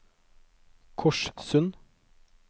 Korssund